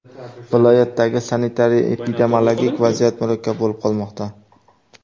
Viloyatdagi sanitariya epidemiologik vaziyat murakkab bo‘lib qolmoqda.